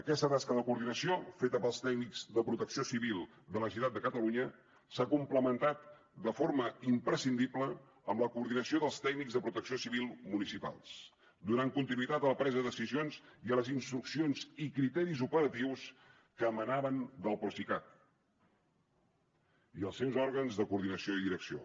aquesta tasca de coordinació feta pels tècnics de protecció civil de la generalitat de catalunya s’ha complementat de forma imprescindible amb la coordinació dels tècnics de protecció civil municipals que donaven continuïtat a la presa de decisions i a les instruccions i criteris operatius que emanaven del procicat i els seus òrgans de coordinació i direcció